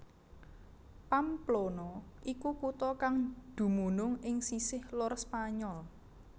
Pamplona iku kutha kang dumunung ing sisih lor Spanyol